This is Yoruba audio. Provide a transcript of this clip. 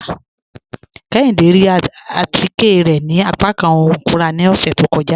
Kéhìndé rí àtíkẹ̀ rẹ̀ ni àpàkán ọ̀hun ikúnrà ni ọṣẹ̀ tó kọ́jà